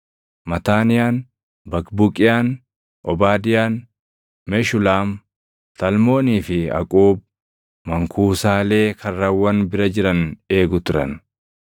Mataaniyaan, Baqbuqiyaan, Obaadiyaan, Meshulaam, Talmoonii fi Aquub mankuusaalee karrawwan bira jiran eegu turan.